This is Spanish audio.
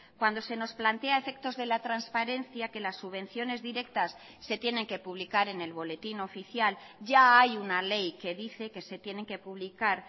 cuando se nos plantea a efectos de la transparencia que las subvenciones directas se tienen que publicar en el boletín oficial ya hay una ley que dice que se tienen que publicar